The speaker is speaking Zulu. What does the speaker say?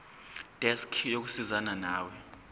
desk yokusizana nawe